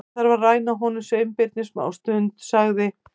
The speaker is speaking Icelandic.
Ég þarf að ræna honum Sveinbirni smástund- sagði